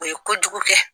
O ye kojugu kɛ